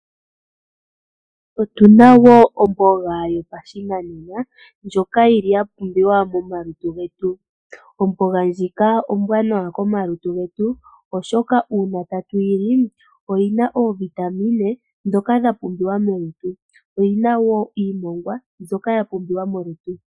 Otuna wo omboga yopashinanena ndjoka yi li ya pumbiwa momalutu getu, omboga ndjika ombwaanawa komalutu getu oshoka uuna tatu yi li, oyina oovitamine dhoka dha pumbiwa molutu oyina wo iimongwa mbyoka ya pumbiwa molutu.